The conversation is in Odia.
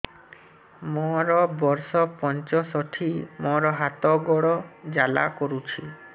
ମୋର ବର୍ଷ ପଞ୍ଚଷଠି ମୋର ହାତ ଗୋଡ଼ ଜାଲା କରୁଛି